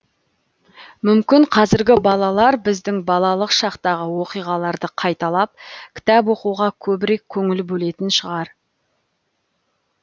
мүмкін қазіргі балалар біздің балалық шақтағы оқиғаларды қайталап кітап оқуға көбірек көңіл бөлетін шығар